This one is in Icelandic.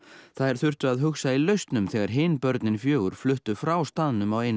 þær þurftu að hugsa í lausnum þegar hin börnin fjögur börn fluttu frá staðnum á einu